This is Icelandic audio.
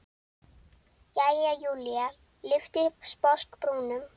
Jæja, Júlía lyfti sposk brúnum.